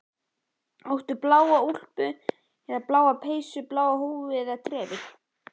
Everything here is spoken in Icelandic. Áttu bláa úlpu eða bláa peysu, bláa húfu eða trefil?